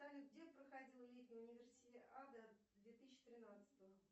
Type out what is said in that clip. салют где проходила летняя универсиада две тысячи тринадцатого